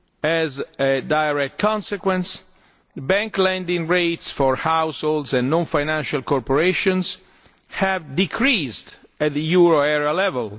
As a direct consequence, bank lending rates for households and non financial corporations have decreased at the euro area level.